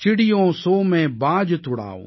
சிடியோன் சோன் மைன் பாஜ் துடாஊம்